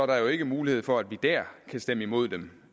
der ikke mulighed for at vi der kan stemme imod dem